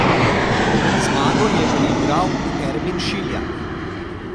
Zmago je priigral Ermin Šiljak.